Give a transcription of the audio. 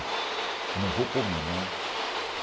Eu não vou pôr minha mão.